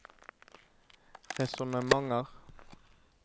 resonnementer